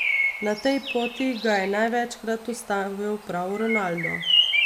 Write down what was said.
Na tej poti ga je največkrat ustavil prav Ronaldo.